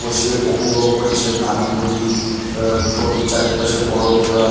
বসে উপভোগ করছেন আনন্দটি পুরো চারিপাশে বরফ দেওয়া ।